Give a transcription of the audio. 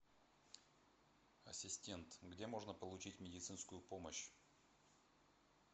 ассистент где можно получить медицинскую помощь